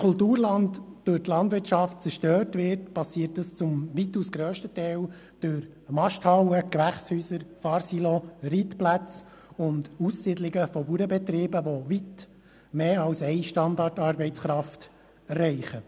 Wenn Kulturland durch die Landwirtschaft zerstört wird, geschieht das weitaus grösstenteils durch Masthallen, Gewächshäuser, Fahrsilo, Reitplätze und Aussiedlungen von Bauernbetrieben, die weitaus mehr als eine Standartarbeitskraft erreichen.